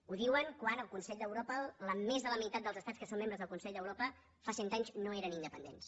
ho diuen quan el consell d’europa més de la meitat dels estats que són membres del consell d’europa fa cent anys no eren independents